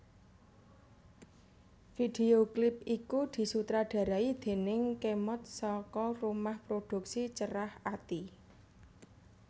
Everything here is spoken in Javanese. Video klip iku disutradarai déning Khemod saka rumah produksi Cerahati